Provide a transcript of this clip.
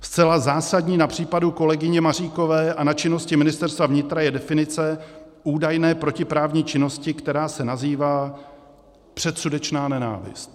Zcela zásadní na případu kolegyně Maříkové a na činnosti Ministerstva vnitra je definice údajné protiprávní činnosti, která se nazývá předsudečná nenávist.